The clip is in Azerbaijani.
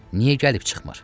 Niyə gəlib çıxmır?